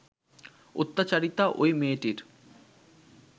অত্যাচারিতা ওই মেয়েটির